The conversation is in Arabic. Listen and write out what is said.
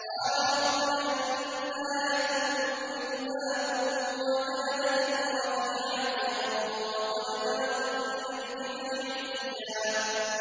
قَالَ رَبِّ أَنَّىٰ يَكُونُ لِي غُلَامٌ وَكَانَتِ امْرَأَتِي عَاقِرًا وَقَدْ بَلَغْتُ مِنَ الْكِبَرِ عِتِيًّا